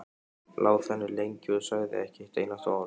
Lá þannig lengi og sagði ekki eitt einasta orð.